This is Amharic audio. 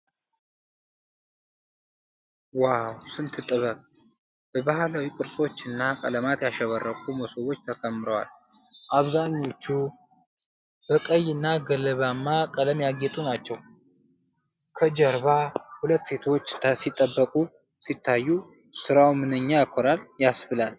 "ዋው! ስንት ጥበብ!" በባህላዊ ቅርጾች እና ቀለማት ያሸበረቁ መሶቦች ተከምረዋል። አብዛኞቹ በቀይ እና ገለባማ ቀለም ያጌጡ ናቸው። ከጀርባ ሁለት ሴቶች ሲጠብቁ ሲታዩ፣ ስራው "ምንኛ ያኮራል!" ያስብላል።